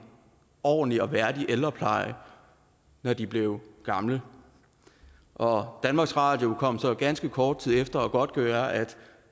ordentlig og værdig ældrepleje når de bliver gamle og danmarks radio kom så ganske kort tid efter og godtgjorde at